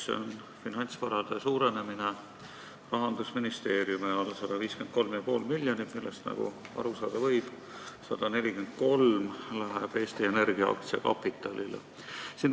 See on finantsvarade suurenemine Rahandusministeeriumi all 153,5 miljonit, millest, nagu aru saada võib, 143 miljonit läheb Eesti Energia aktsiakapitaliks.